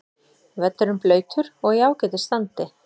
Völlurinn blautur og í ágætis standi.